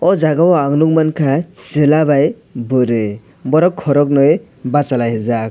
aw jaaga o ang nugmanka chwla by bwri borok kwrognui bachalaijak.